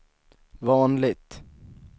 vanligt